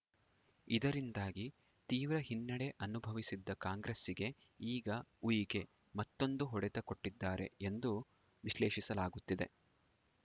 ಇದರಿಂದಾಗಿ ತೀವ್ರ ಹಿನ್ನಡೆ ಅನುಭವಿಸಿದ್ದ ಕಾಂಗ್ರೆಸ್ಸಿಗೆ ಈಗ ಉಯಿಕೆ ಮತ್ತೊಂದು ಹೊಡೆತ ಕೊಟ್ಟಿದ್ದಾರೆ ಎಂದು ವಿಶ್ಲೇಷಿಸಲಾಗುತ್ತಿದೆ